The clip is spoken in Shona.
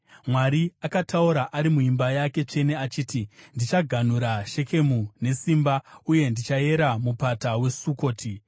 Mwari akataura ari muimba yake tsvene achiti: “Ndichaganhura Shekemu nesimba uye ndichayera Mupata weSukoti.